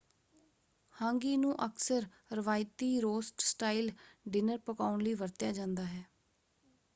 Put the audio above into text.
Hangi ਨੂੰ ਅਕਸਰ ਰਵਾਇਤੀ ਰੋਸਟ ਸਟਾਈਲ ਡਿਨਰ ਪਕਾਉਣ ਲਈ ਵਰਤਿਆ ਜਾਂਦਾ ਹੈ।